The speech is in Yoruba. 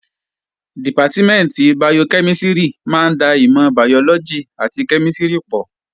Dìpátímẹ̀ntì bayokẹ́mísìrì máa ń da ìmọ̀ bàyọ́lọ́gì àti kẹ́mísìrì pọ̀